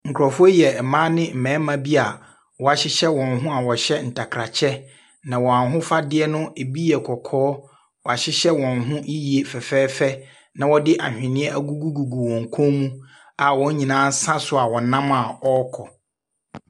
Nkurɔfoɔ yi yɛ mmaa ne mmarima bi a wɔahyehyɛ wɔn ho a wɔhyɛ ntakrakyɛ, na wɔn ahofadeɛ no, ɛbi yɛ kɔkɔɔ. Wɔahyehyɛ wɔn ho yiw fɛfɛɛfɛ, na wɔde ahweneɛ agugu gugu wɔn kɔn mu a wɔn nyinaaa nam a wɔsa so a wɔrekɔ.